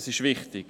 Das ist wichtig.